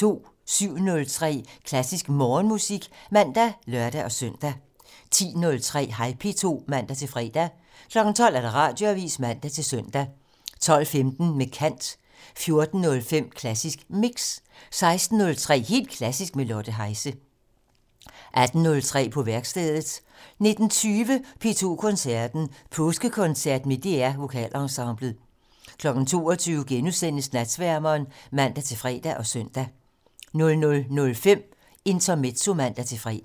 07:03: Klassisk Morgenmusik (man og lør-søn) 10:03: Hej P2 (man-fre) 12:00: Radioavisen (man-søn) 12:15: Med kant 14:05: Klassisk Mix 16:03: Helt Klassisk med Lotte Heise 18:03: På værkstedet 19:20: P2 Koncerten - Påskekoncert med DR Vokalensemblet 22:00: Natsværmeren *(man-fre og søn) 00:05: Intermezzo (man-fre)